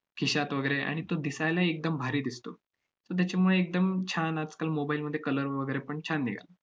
खिशात वगैरे आणि तो दिसायला एकदम भारी दिसतो. so त्याच्यामुळे एकदम छान आजकाल mobile मध्ये colour व~ वगैरे पण छान निघाला.